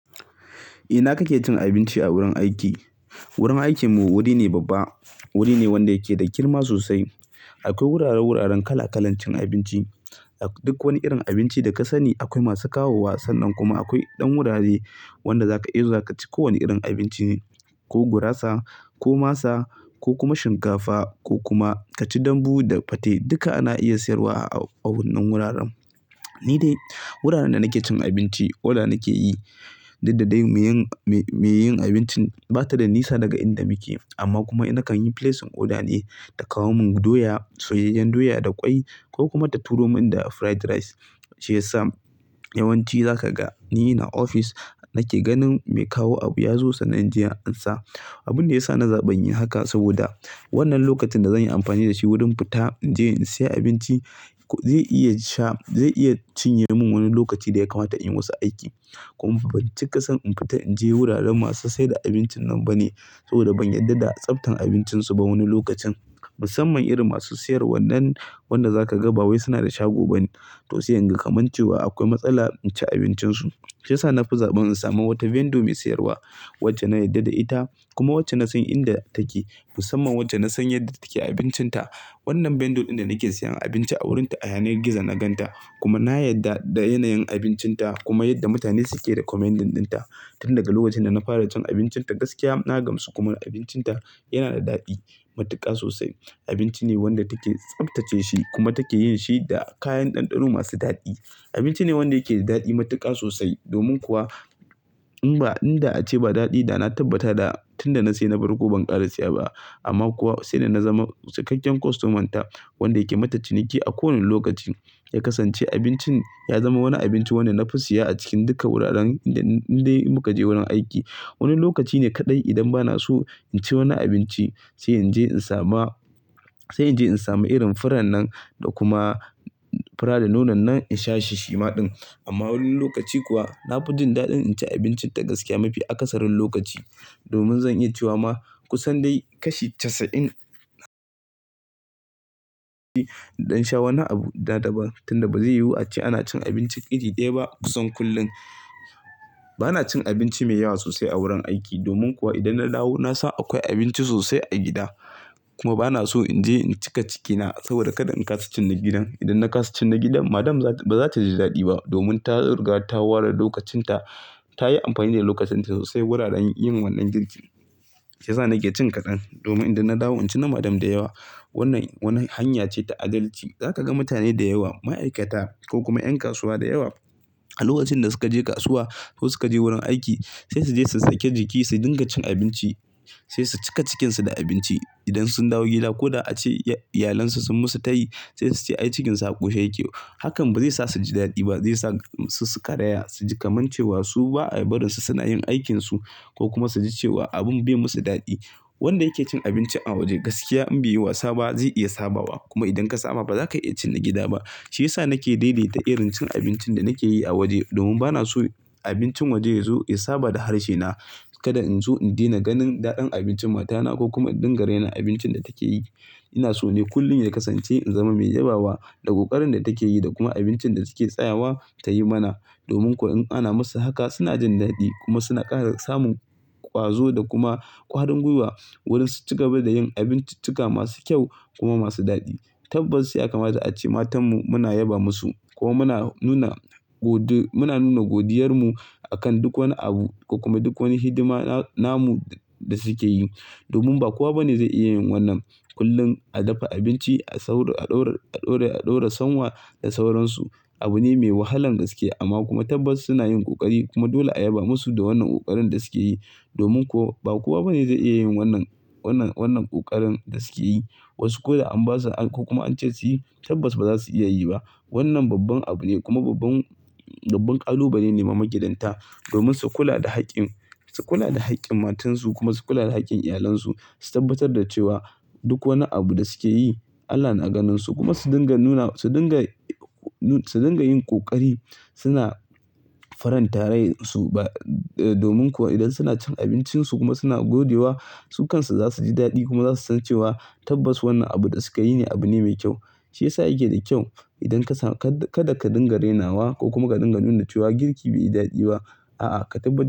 Eh, ina kake cin abinci a wurin aiki? Wurin aikinmu wuri ne babba. Wuri ne wanda yake da girma sosai. Akwai wurare-wuraren kala-kalancin abinci. Duk wani irin abinci da ka sani akwai masu kawo wa. Sannan kuma akwai ɗan wurare wanda zaka iya zuwa ka ci kowane irin abinci. Ko gurasa ko masa ko kuma shinkafa ko kuma ka ci dambu da fate duka ana iya siyarwa a wannan wuraren. Ni dai wuraren da nake cin abinci, oda nake yi. Dakeda dai mai yin abincin ba ta da nisa daga inda muke amma kuma na kan yi placing oda ne ta kawo mun doya, soyayyen doya da ƙwai ko kuma ta turo mun da fried rice. Shi yasa yawanci za ka ga ni ins ofis nake ganin mai kawo abu ya zo sannan inje in ansa. Abun da ya sa na zaɓi yin haka saboda wannan lokacin da zan yi amfani da shi wurin fita in je in saya abinci zai iya sha-- zai iya cinye mun wani lokaci da ya kamata in yi wasu aiki. Kuma ban cika son in fita in je wuraren masu saida abincin nan ba ne saboda ban yarda da tsaftan abincin su ba wani lokacin. Musamman irin masu siyar wannan, wanda za ka ga ba wai suna da shago bane. To sai inga kamancewa akwai matsala in ci abincin su. Shi yasa na fi zaɓin in samu wata vendor mai siyarwa wacce na yarda da ita kuma wacce na san inda ake. Musamman wacce na san yadda take abincinta. Wannan vendor ɗin da nake sayan abinci a wurinta a yanar gizo na gan ta kuma na yarda da yanayin abincinta kuma yadda mutane suke da recommendin ɗin ta. Tun daga lokacin da na fara cin abincinta gaskiya na gamsu kuma abincinta yana da daɗi, matuƙa sosai. Abinci ne wanda take tsaftace shi kuma take yin shi da kayan ɗanɗano masu daɗi. Abinci ne wanda yake da daɗi matuƙa sosai. Domin kuwa in ba in da ace ba daɗi da na tabbata da tun da na sai na bar ko ban ƙara siya ba. Amma kuwa sai da na zama cikakken kostoman ta wanda yake mata ciniki a kowane lokaci ya kasance abincin ya zama wani abinci wanda na fi siya a cikin duka wuraren inda dai muka je wurin aiki. Wani lokaci ne kaɗai idan bana so in ci wani abinci sai in je in samu, sai in je in samu irin furar nan da kuma fura da nonon nan in sha shi shima ɗin. Amma wani lokaci kuwa na fi jin daɗin in ci abincinta gaskiya mafi akasarin lokaci. Domin zan iya cewa ma kusan dai kashi casa'in ɗan sha wani abu da daba tun da ba zai yiwu a ce ana cin abinci iri ɗaya ba kusan kullum. Bana cin abinci mai yawa sosai a wurin aiki domin kuwa idan na dawo na san akwai abinci sosai a gida. Kuma bana so in je in cika cikina saboda kada in kasa cin na gidan. Idan na kasa cin na gidan Madam ba za ta ji daɗi ba domin ta ruga, ta ware lokacin ta, ta yi amfani da lokacin ta sosai wurin yin wannan girkin. Shi yasa nake cin kaɗan domin idan na dawo in ci na Madam da yawa. Wannan wani hanya ce ta adalci. Zaka ga mutane da yawa, ma'aikata ko kuma ƴan kasuwa da yawa a lokacin da suka je kasuwa ko suka je wurin aiki sai su je su saki jiki, sai dinga cin abinci sai su cika cikinsu da abinci. Idan sun dawo gida ko da ace iyalansu sun musu tayi sai su ce ai cikinsa ƙushe yake. Hakan ba zai sa su ji daɗi ba, zai sa su karaya, su ji kamancewa su ba a barin su suna yin aikinsu ko kuma su ji cewa abun bai musu daɗi. Wanda yake cin abinci a waje gaskiya in bai yi wasa ba zai iya sabawa. Kuma idan ka samu ba za ka iya cin na gida ba. Shi yasa nake daidaita irin cin abincin da nake yi a waje domin bana so abincin waje yazo ya saba da harshe na. Kada in so in daina ganin daɗin abincin matana ko kuma in dinga raina abincin da take yi. Ina so ne kullum ya kasance in zama mai yabawa da ƙoƙarin da take yi da kuma abincin da take tsayawa tayi mana. Domin kuwa in ana musu haka suna jin daɗi kuma suna ƙara samun ƙwazo da kuma ƙwarin gwiwa wurin su ci gaba da yin abinciccika masu kyau kuma masu daɗi. Tabbas ya kama da a ce matanmu muna yaba musu ko muna nuna godu-- muna nuna godiyar mu akan duk wani abu ko kuma duk wani hidima namu da suke yi. Domin ba kowa bane zai iya yin wannan. Kullum a dafa abinci, a sauro, a ɗora, a ɗora sonwa da sauransu abu ne mai wahalan gaskiya. Amma kuma tabbas suna yin ƙoƙari kuma dole a yaba musu da wannan ƙoƙarin da suke yi. Domin kuwa ba kowa bane zai iya yin wannan, wannan, wannan ƙoƙarin da suke yi. Wasu ko da an basu an ko kuma an ce su yi tabbas ba za su iya yi ba. Wannan babban abu ne kuma babban, babban ƙalubale ne ma magidanta domin su kula da haƙƙin, su kula da haƙƙin matansu kuma su kula da haƙƙin iyalansu. Su tabbatar da cewa duk wani abu da suke yi Allah na ganin su kuma su dinga nuna, su dinga, su dinga yin ƙoƙari suna farantare su ba. Domin kuwa idan suna cin abincinsu kuma suna godewa su kansu za su ji daɗi kuma za su san cewa tabbas wannan abu da sukayi ne abu ne mai kyau. Shi yasa yake da kyau idan ka samu ka-kada ka dinga rainawa ko kuma ka dinga nuna cewa girki bai da daɗi ba. A'a, ka tabbatar.